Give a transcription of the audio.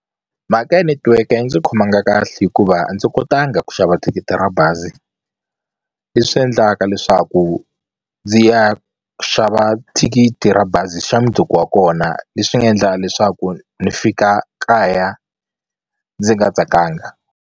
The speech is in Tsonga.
Mhaka ya netiweke a yi ndzi khomanga kahle hikuva a ndzi kotanga ku xava thikithi ra bazi leswi endlaka leswaku ndzi ya xava thikithi ra bazi xa mundzuku wa kona leswi nga endla leswaku ni fika kaya ndzi nga tsakanga.